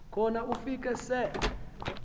khona ufike se